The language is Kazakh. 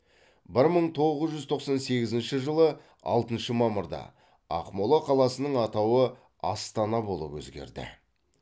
бір мың тоғыз жүз тоқсан сегізінші жылы алтыншы мамырда ақмола қаласының атауы астана болып өзгерді